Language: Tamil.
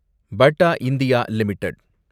patta India limited